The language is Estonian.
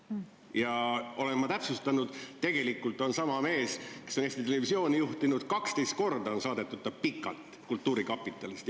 Ma olen seda täpsustanud: tegelikult on sama mees, kes on Eesti Televisiooni juhtinud, 12 korda kultuurkapitalist pikalt saadetud.